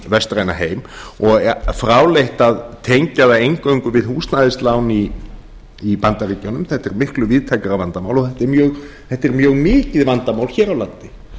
vestræna heim og er fráleitt að tengja það eingöngu við húsnæðislán í bandaríkjunum þetta er miklu víðtækara vandamál og þetta er mjög mikið vandamál hér á landi